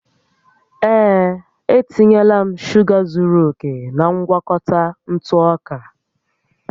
Ee, e tinyela m shuga zuru oke na ngwakọta ntụ ọka